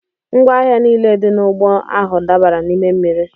Ngwa ahịa niile dị n'ụgbọ ahụ dabara n'ime mmiri.